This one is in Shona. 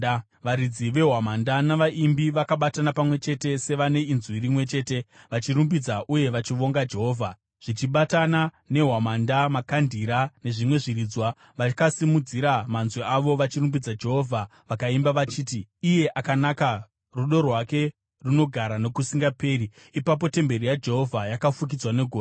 Varidzi vehwamanda navaimbi vakabatana pamwe chete sevane inzwi rimwe chete, vachirumbidza uye vachivonga Jehovha. Zvichibatana nehwamanda makandira nezvimwe zviridzwa vakasimudzira manzwi avo vachirumbidza Jehovha vakaimba vachiti: “Iye akanaka; rudo rwake runogara nokusingaperi.” Ipapo temberi yaJehovha yakafukidzwa negore,